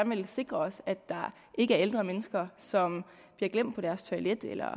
vil sikre os at der ikke er ældre mennesker som bliver glemt på deres toilet eller